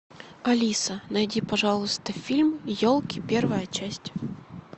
алиса найди пожалуйста фильм елки первая часть